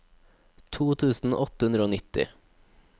to tusen åtte hundre og nitti